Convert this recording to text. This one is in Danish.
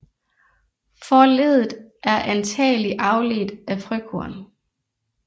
Forleddet er antagelig afledt af frøkorn